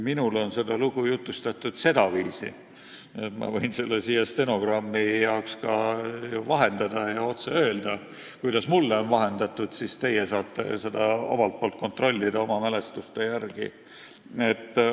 Minule on seda lugu jutustatud sedaviisi, ma võin seda siin stenogrammi jaoks vahendada ja öelda, kuidas mulle on räägitud, siis teie saate seda omalt poolt oma mälestuste järgi kontrollida.